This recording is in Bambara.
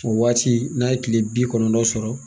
O waati n'a ye kile bi kɔnɔntɔn sɔrɔ